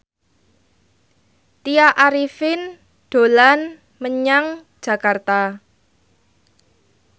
Tya Arifin dolan menyang Jakarta